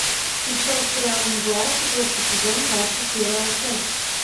включай сериал мгла четвертый сезон двадцать первая часть